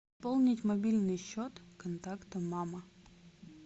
пополнить мобильный счет контакта мама